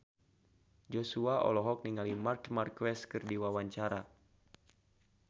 Joshua olohok ningali Marc Marquez keur diwawancara